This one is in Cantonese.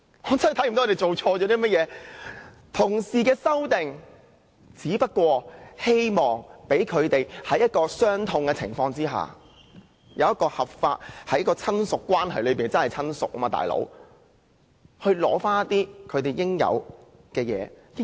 同事提出的修正案，只希望讓他們在一個傷痛的情況下，以一個合法的親屬關係——他們真的是親屬，"老兄"——取回他們應有的東西。